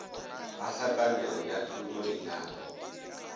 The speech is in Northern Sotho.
ga hlakanelo ya thoto lenyalo